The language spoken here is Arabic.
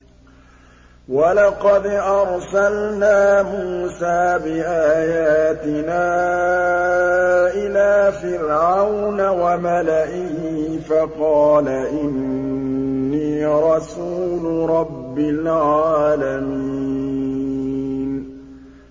وَلَقَدْ أَرْسَلْنَا مُوسَىٰ بِآيَاتِنَا إِلَىٰ فِرْعَوْنَ وَمَلَئِهِ فَقَالَ إِنِّي رَسُولُ رَبِّ الْعَالَمِينَ